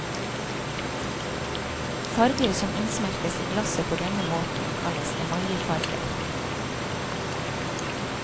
Farger som innsmeltes i glasset på denne måten kalles emaljefarger.